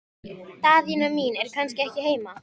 Daðína mín er kannski ekki heima?